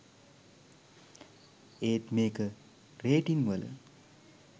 ඒත් මේක රේටිං වල